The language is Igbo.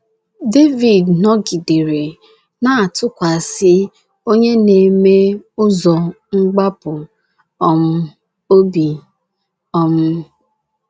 Devid nọgidere na - atụkwasị Onye na - eme ụzọ mgbapụ um obi. um